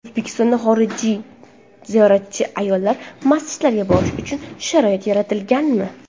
O‘zbekistonda xorijlik ziyoratchi ayollar masjidlarga borishi uchun sharoit yaratilganmi?.